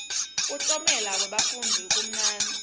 kuklomela kwebafundzi kumnanzi